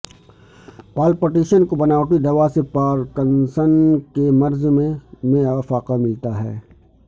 پال Pattinson کو بناوٹی دوا سے پارکنسن کے مرض میں میں افاقہ ملتا ہے